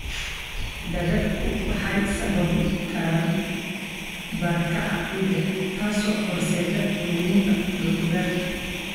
Daadadku waxay sababi karaan barakaca ciidda, taasoo horseedda luminta dhul beereed.